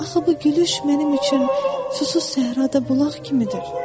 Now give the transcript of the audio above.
Axı bu gülüş mənim üçün susuz səhrada bulaq kimidir.